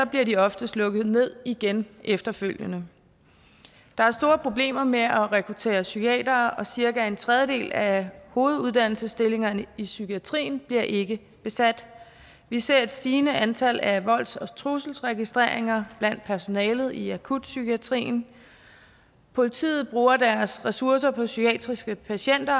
bliver de oftest lukket ned igen efterfølgende der er store problemer med at rekruttere psykiatere og cirka en tredjedel af hoveduddannelsesstillingerne i psykiatrien bliver ikke besat vi ser et stigende antal af volds og trusselsregistreringer blandt personalet i akutpsykiatrien politiet bruger deres ressourcer på psykiatriske patienter